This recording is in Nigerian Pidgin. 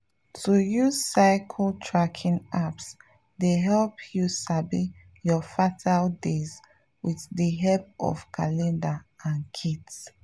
to use cycle tracking apps dey help you sabi your fertile days with the help of calendar and kits.